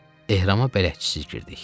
Ehrama bələdçisiz girdik.